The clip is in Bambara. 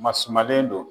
Masumalen don